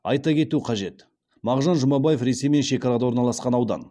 айта кету қажет мағжан жұмабаев ресеймен шекарада орналасқан аудан